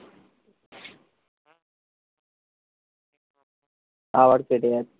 আবার কেটে যাচ্ছে